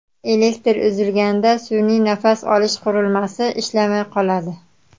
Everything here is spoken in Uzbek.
Elektr uzilganda sun’iy nafas olish qurilmasi ishlamay qoladi.